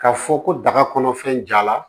K'a fɔ ko daga kɔnɔfɛn jala